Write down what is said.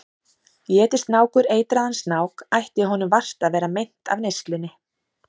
Éti snákur eitraðan snák ætti honum vart að vera meint af neyslunni.